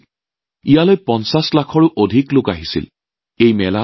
৫০ লাখৰো অধিক লোক এই মেলালৈ আহিছিল